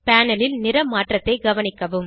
panel ல் நிற மாற்றத்தை கவனிக்கவும்